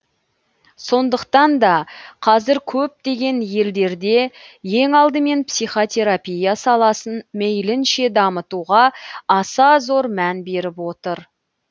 сондықтан да қазір көптеген елдерде ең алдымен психотерапия саласын мейлінше дамытуға аса зор мән беріп отыр